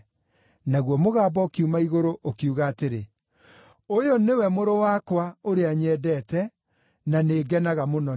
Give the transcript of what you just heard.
Naguo mũgambo ũkiuma igũrũ, ũkiuga atĩrĩ, “Ũyũ nĩwe Mũrũ wakwa, ũrĩa nyendete; na nĩngenaga mũno nĩ we.”